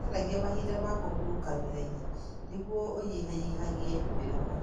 Wĩcaragie mahinda ma kũhurũka wĩra-inĩ nĩguo ũnyihanyihĩrũo nĩ mĩnoga.